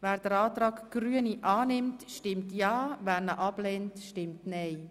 Wer den Antrag annimmt, stimmt ja, wer ihn ablehnt, stimmt nein.